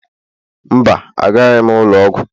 Mba, agaraghị m ụlọ ọgwụ